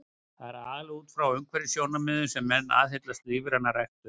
Það er aðallega út frá umhverfissjónarmiðum sem menn aðhyllast lífræna ræktun.